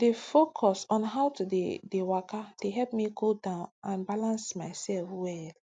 to dey focus on how take dey dey waka dey help me cool down and balance myself well